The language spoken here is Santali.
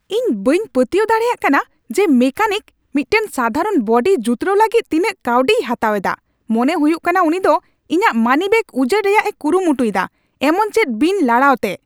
ᱤᱧ ᱵᱟᱹᱧ ᱯᱟᱹᱛᱭᱟᱹᱣ ᱫᱟᱲᱮᱭᱟᱜ ᱠᱟᱱᱟ ᱡᱮ ᱢᱮᱠᱟᱱᱤᱠ ᱢᱤᱫᱴᱟᱝ ᱥᱟᱫᱷᱟᱨᱚᱱ ᱵᱚᱰᱤ ᱡᱩᱛᱨᱟᱹᱣ ᱞᱟᱹᱜᱤᱫ ᱛᱤᱱᱟᱹᱜ ᱠᱟᱹᱣᱰᱤᱭ ᱦᱟᱛᱟᱣ ᱮᱫᱟ ! ᱢᱚᱱᱮ ᱦᱩᱭᱩᱜ ᱠᱟᱱᱟ ᱩᱱᱤ ᱫᱚ ᱤᱧᱟᱹᱜ ᱢᱟᱱᱤᱵᱮᱜ ᱩᱡᱟᱹᱲ ᱨᱮᱭᱟᱜ ᱮ ᱠᱩᱨᱩᱢᱩᱴᱩ ᱮᱫᱟ ᱮᱢᱚᱱ ᱪᱮᱫ ᱵᱤᱱ ᱞᱟᱲᱟᱣᱛᱮ ᱾